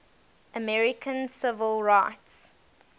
american civil rights